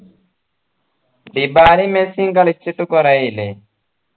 ഇബാലയും മെസ്സിയും കളിച്ചിട്ട് കുറെയായില്ലേ